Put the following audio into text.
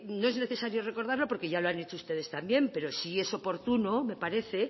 no es necesario recordarlo porque ya lo han hecho ustedes también pero sí es oportuno me parece